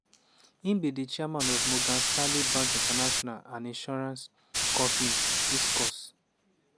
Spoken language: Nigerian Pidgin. e be di chairman of morgan stanley bank international and insurance company hiscox.